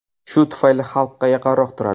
Shu tufayli xalqqa yaqinroq turadi.